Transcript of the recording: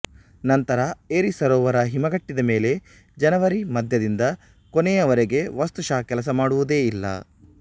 ನಂತರ ಎರಿ ಸರೋವರ ಹಿಮಗಟ್ಟಿದ ಮೇಲೆ ಜನವರಿ ಮಧ್ಯದಿಂದ ಕೊನೆಯವರೆಗೆ ವಸ್ತುಶಃ ಕೆಲಸ ಮಾಡುವುದೇ ಇಲ್ಲ